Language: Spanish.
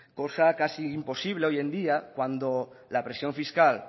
cosa casi imposible hoy en día cuando la presión fiscal